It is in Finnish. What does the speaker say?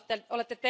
ole